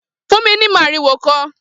Fún mi ni màriwò kan!